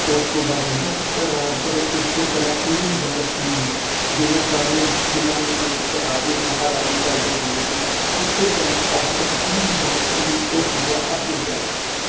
ਉਸਤੋਂ ਬਾਅਦ ਉਸਦਾ ਪੁੱਤਰ ਰਾਜ ਕਰੇ ਐਸੇ ਤਰਾਂ ਪੀਰੀ ਦਰ ਪੀਰੀ ਜਿਵੇ ਪੁਰਾਣੇ ਜ਼ਮਾਨੇ ਚ ਰਾਜੇ ਮਹਾਰਾਜੇ ਚੱਲਦੇ ਹੁੰਦੇ ਸੀ ਉਸੇ ਤਾਰਾ ਅੱਜ ਤੱਕ ਪੀਰੀ ਡਾਰ ਪੀਰੀ ਉਹ ਚੀਜ਼ਾਂ ਅਗੇ ਚੱਲਣ।